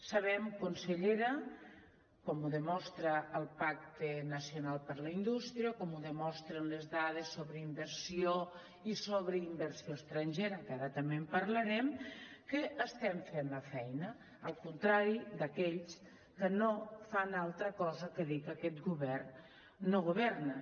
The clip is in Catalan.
sabem consellera com ho demostra el pacte nacional per la indústria com ho demostren les dades sobre inversió i sobre inversió estrangera que ara també en parlarem que estem fent la feina al contrari d’aquells que no fan altra cosa que dir que aquest govern no governa